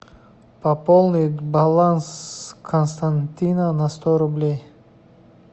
пополнить баланс константина на сто рублей